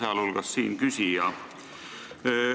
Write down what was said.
Nende hulgas on ka siinküsija.